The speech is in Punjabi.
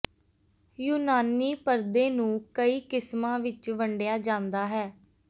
ਯੂਨਾਨੀ ਪਰਦੇ ਨੂੰ ਕਈ ਕਿਸਮਾਂ ਵਿਚ ਵੰਡਿਆ ਜਾਂਦਾ ਹੈ